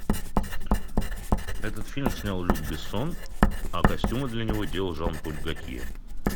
этот фильм снял люк бессон а костюмы для него делал жан поль готье